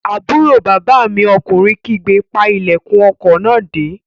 Àbúrò bàbá mi ọkùnrin kígbe, "pa ilẹ̀kùn ọkọ̀ náà dé!"